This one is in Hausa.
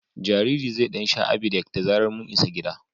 Jaririn zai ɗan sha Abidec da zarar mun isa gida.